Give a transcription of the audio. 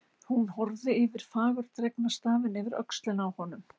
Hún horfði á fagurdregna stafina yfir öxlina á honum.